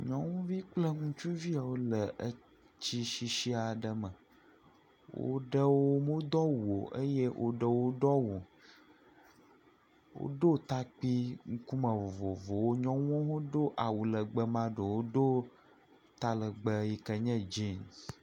Nyɔnuvi kple ŋutsuvi yawo le etsi sisi aɖe me. Woɖewo wodo awu o eye woɖewo womedo awu. Woɖo takpi ŋkume vovovowo. Nyɔnuwo do awu legbe, ame aɖewo do talegbe yike nye dzinsi.